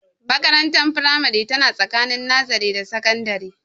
Makarantar firamare tana tsakani nazare da sakandare